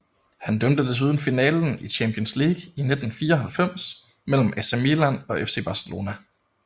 Han dømte desuden finalen i Champions League i 1994 mellem AC Milan og FC Barcelona